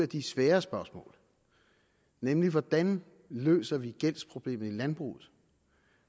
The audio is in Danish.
de svære spørgsmål nemlig hvordan vi løser gældsproblemet i landbruget